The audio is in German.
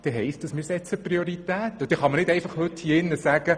Und dann kann man heute im Grossen Rat nicht einfach sagen: